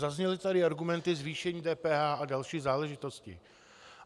Zazněly tady argumenty: zvýšení DPH a další záležitosti.